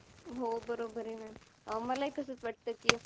हो बरोबर आहे maam. मला तसच वाटतंय कि